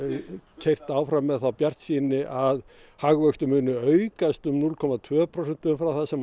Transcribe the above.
keyrt áfram með þá bjartsýni að hagvöxtur muni aukast um núll komma tvö prósent umfram það sem